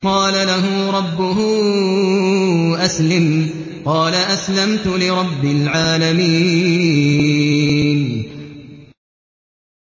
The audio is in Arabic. إِذْ قَالَ لَهُ رَبُّهُ أَسْلِمْ ۖ قَالَ أَسْلَمْتُ لِرَبِّ الْعَالَمِينَ